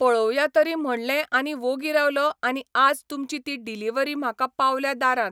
पळोवया तरी म्हणलें आनी वोगी रावलो आनी आज तुमची ती डिलिव्हरी म्हाका पावल्या दारांत.